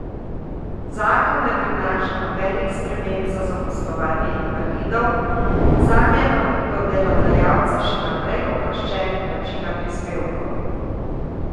Zakon ne prinaša nobenih sprememb za zaposlovanje invalidov, zanje bodo delodajalci še naprej oproščeni plačila prispevkov.